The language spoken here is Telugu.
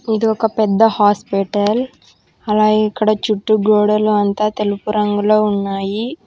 ఇది ఒక పెద్ద హాస్పెటల్ అలాగే ఇక్కడ చుట్టూ గోడలు అంతా తెలుపు రంగులో ఉన్నాయి.